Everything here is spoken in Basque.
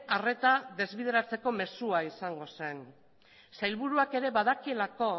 arreta desbideratzeko mezua izango zen sailburuak ere badakielako